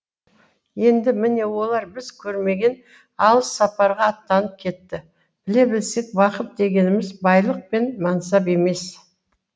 енді міне олар біз көрмеген алыс сапарға аттанып кетті біле білсек бақыт дегеніміз байлық пен мансап емес